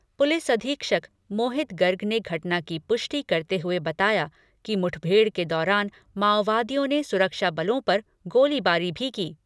Police अधीक्षक मोहित गर्ग ने घटना की पुष्टि करते हुए बताया कि मुठभेड़ के दौरान माओवादियों ने सुरक्षा बलों पर गोलीबारी भी की।